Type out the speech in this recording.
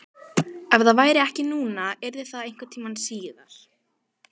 Ef það væri ekki núna yrði það einhvern tíma síðar.